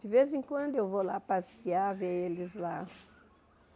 De vez em quando eu vou lá passear, ver eles lá.